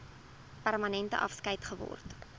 permanente afskeid geword